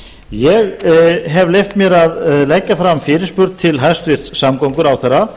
ég hef leyft mér að leggja fram fyrirspurn til hæstvirts samgönguráðherra